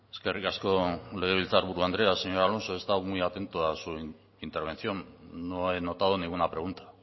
eskerrik asko legebiltzar buru andrea señor alonso he estado muy atento a su intervención no he notado ninguna pregunta